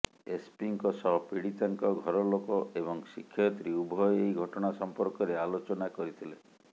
ଏସପିଙ୍କ ସହ ପୀଡ଼ିତାଙ୍କ ଘର ଲୋକ ଏବଂ ଶିକ୍ଷୟତ୍ରୀ ଉଭୟ ଏହି ଘଟଣା ସଂପର୍କରେ ଆଲୋଚନା କରିଥିଲେ